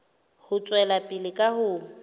ho tswela pele ka ho